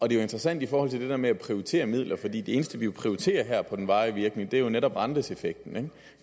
jo interessant i forhold til det der med at prioritere midler for det eneste vi prioriterer her på den varige virkning er jo netop renteeffekten